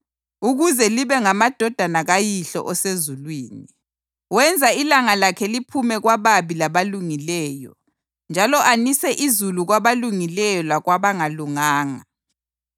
ukuze libe ngamadodana kaYihlo osezulwini. Wenza ilanga lakhe liphume kwababi labalungileyo njalo anise izulu kwabalungileyo lakwabangalunganga.